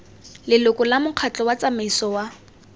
leloko la mokgatlho tsamaiso wa